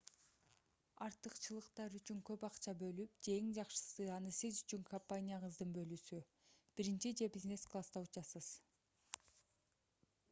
артыкчылыктар үчүн көп акча бөлүп же эң жакшысы аны сиз үчүн компанияңыздын бөлүүсү биринчи же бизнес класста учасыз